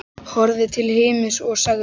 Horfði til himins og sagði: